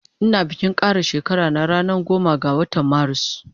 Ina bikin kara shekara na ranan goma ga watan marus